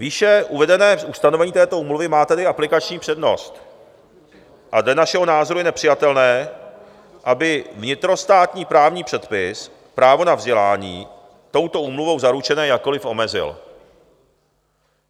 Výše uvedené ustanovení této úmluvy má tedy aplikační přednost a dle našeho názoru je nepřijatelné, aby vnitrostátní právní předpis právo na vzdělání touto úmluvou zaručené jakkoliv omezil.